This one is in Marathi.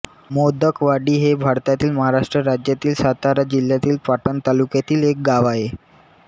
मोडकवाडी हे भारतातील महाराष्ट्र राज्यातील सातारा जिल्ह्यातील पाटण तालुक्यातील एक गाव आहे